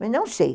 Mas não sei.